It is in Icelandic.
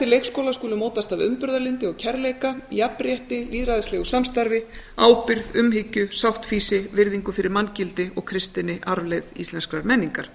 leikskólans skulu mótast af umburðarlyndi og kærleika jafnrétti lýðræðislegu samstarfi ábyrgð umhyggju sáttfýsi virðingu fyrir manngildi og kristinni arfleifð íslenskrar menningar